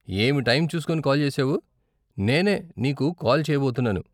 ఏమి టైం చూస్కొని కాల్ చేసావు, నేనే నీకు కాల్ చేయబోతున్నాను.